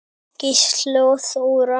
Gísli og Þóra.